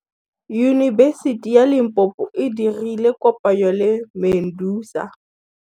Yunibesiti ya Limpopo e dirile kopanyô le MEDUNSA.